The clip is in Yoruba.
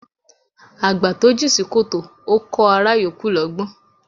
Àgbà tó jìn sí kòtò, Ó kọh ará yòókù lọ́gbọ́n